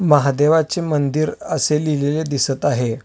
महादेवाचे मंदिर असे लिहिलेलं दिसत आहे.